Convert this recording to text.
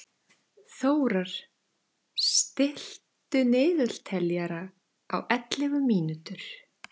Þórar, stilltu niðurteljara á ellefu mínútur.